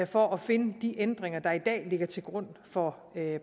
for at finde de ændringer der i dag ligger til grund for